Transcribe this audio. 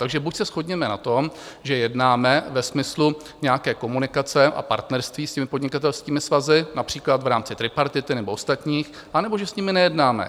Takže buď se shodněme na tom, že jednáme ve smyslu nějaké komunikace a partnerství s těmi podnikatelskými svazy, například v rámci tripartity nebo ostatních, anebo že s nimi nejednáme.